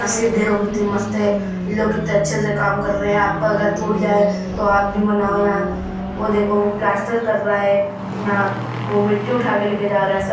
देखो कित्ती मस्त है। इ लोग कित्ते अच्छे से काम कर रहे हैं। आपका घर टूट जाये तो आप भी बनाओ यहाँ। वो देखो वो प्लास्टर कर रहा है यहाँ। वो मिट्टी उठा के लेके जा रहा है।